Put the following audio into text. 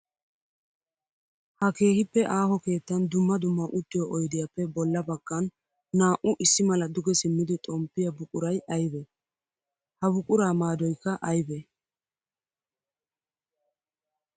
Ha keehippe aaho keettan dumma dumma uttiyo oyddiyappe bolla bagan naa'u issi mala duge simmiddi xomppiya buquray aybbe? Ha buqura maadoykka aybbe?